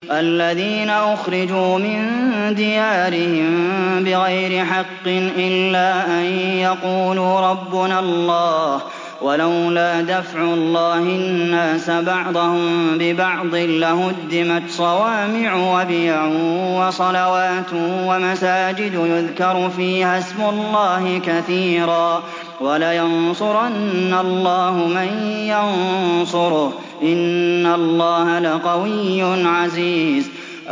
الَّذِينَ أُخْرِجُوا مِن دِيَارِهِم بِغَيْرِ حَقٍّ إِلَّا أَن يَقُولُوا رَبُّنَا اللَّهُ ۗ وَلَوْلَا دَفْعُ اللَّهِ النَّاسَ بَعْضَهُم بِبَعْضٍ لَّهُدِّمَتْ صَوَامِعُ وَبِيَعٌ وَصَلَوَاتٌ وَمَسَاجِدُ يُذْكَرُ فِيهَا اسْمُ اللَّهِ كَثِيرًا ۗ وَلَيَنصُرَنَّ اللَّهُ مَن يَنصُرُهُ ۗ إِنَّ اللَّهَ لَقَوِيٌّ عَزِيزٌ